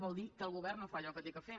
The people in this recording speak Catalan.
vol dir que el govern no fa allò que ha de fer